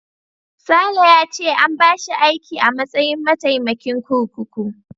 Sale ya ce an bashi aiki a matsayin mataimakin kurkuku.